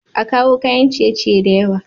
A kawo kayan ciye ciye da yawa